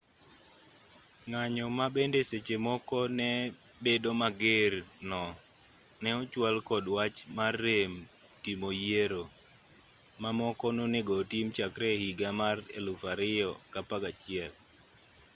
ng'anyo ma bende seche moko ne bedo mager no ne ochwal kod wach mar rem timo yiero ma moko nonego otim chakre e higa mar 2011